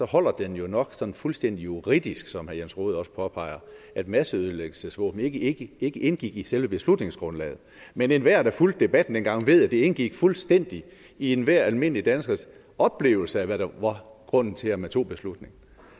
holder den jo nok sådan fuldstændig juridisk som herre jens rohde også påpeger at masseødelæggelsesvåben ikke indgik i selve beslutningsgrundlaget men enhver der fulgte debatten dengang ved at det indgik fuldstændig i enhver almindelig danskers oplevelse af hvad der var grunden til at man tog beslutningen